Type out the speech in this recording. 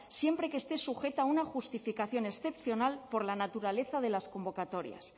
siempre que esté sujeta a una justificación excepcional por la naturaleza de las convocatorias